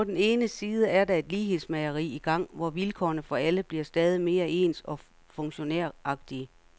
På den ene side er der et lighedsmageri i gang, hvor vilkårene for alle bliver stadig mere ens og funktionæragtige.